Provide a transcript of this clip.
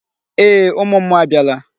Ee, ụmụ mmụọ abịala.